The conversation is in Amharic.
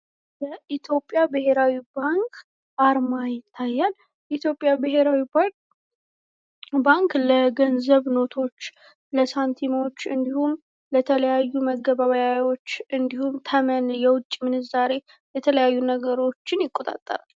የኢትዮጵያ ብሄራዊ ባንክ አርማ ይታያል። ኢትዮጵያ ብሄራዊ ባንክ ለገንዘብ ኖቶች ለሳቲሞች እንዲሁም ለተለያዩ መገበያያዎች እንዲሁም ተመን የውጭ ምንዛሬ የተለያዩ ነገሮችን ይቆጣጠራል።